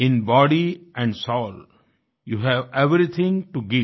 in body and soul you have everything to give